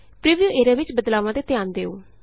preview area ਵਿਚ ਬਦਲਾਵਾਂ ਤੇ ਧਿਆਨ ਦਿਉੋ